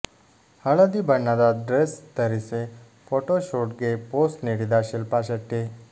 ಹಳದಿ ಬಣ್ಣದ ಡ್ರೆಸ್ ಧರಿಸಿ ಫೊಟೋಶೂಟ್ಗೆ ಪೋಸ್ ನೀಡಿದ ಶಿಲ್ಪಾ ಶೆಟ್ಟಿ